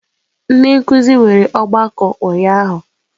Ndị nkuzi nwere ọgbakọ ụnyahụ.